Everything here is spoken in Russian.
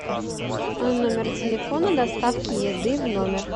номер телефона доставки еды в номер